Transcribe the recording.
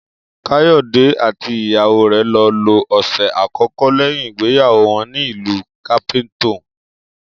Káyò̩dé àti ìyàwó rè̩ lo̩ lo òsè̩ àkókó̩ lé̩yìn ìgbéyàwó wo̩n ní ìlú Cape Town